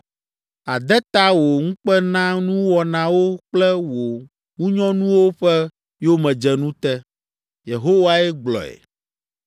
Àde ta wò ŋukpenanuwɔnawo kple wò ŋunyɔnuwo ƒe yomedzenu te.’ ” Yehowae gblɔe.